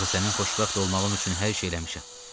Axı sənin xoşbəxt olmağın üçün hər şey eləmişəm.